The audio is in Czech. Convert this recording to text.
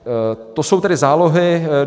To jsou tedy zálohy.